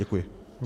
Děkuji.